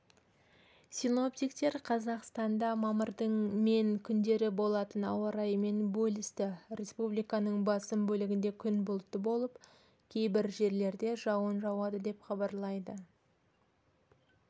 синоптиктер қазақстанда мамырдың мен күндері болатын ауа райымен бөлісті республиканың басым бөлігінде күн бұлтты болып кейбір жерлерде жауын жауады деп хабарлайды